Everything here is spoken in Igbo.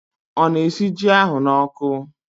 O na-esi ji ahụ na oku?